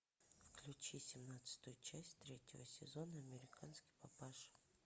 включи семнадцатую часть третьего сезона американский папаша